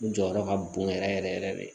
U jɔyɔrɔ ka bon yɛrɛ yɛrɛ yɛrɛ yɛrɛ de